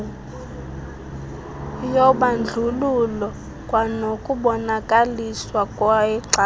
yobandlululo kwanokubonakaliswa kwexabiso